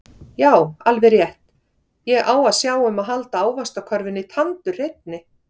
Já alveg rétt, ég á að sjá um að halda ávaxtakörfunni tandurhreinni